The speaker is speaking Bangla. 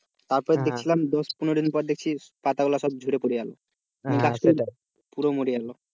দেখছিলাম দশ পনেরো দিন পর দেখছিলাম পাতাগুলো সব ঝরে পড়ে গেল পুরো মরে গেলো